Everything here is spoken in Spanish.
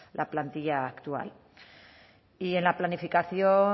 la plantilla actual y en la planificación